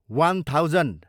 one thousand